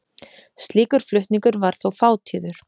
Slíkur flutningur var þó fátíður.